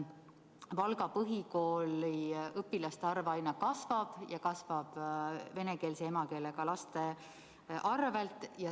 Valga põhikooli õpilaste arv aina kasvab, ja seda venekeelse emakeelega laste võrra.